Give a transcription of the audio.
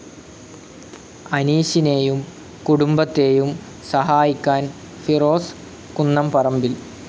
അനീഷിനെയും കുടുംബത്തെയും സഹായിക്കാൻ ഫിറോസ് കുന്നംപറമ്പിൽ